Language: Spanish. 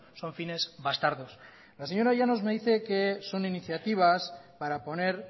son fines bastardos la señora llanos me dice que son iniciativas para poner